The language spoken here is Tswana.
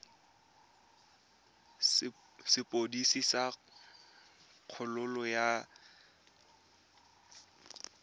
sepodisi sa kgololo ya kgatisomenwa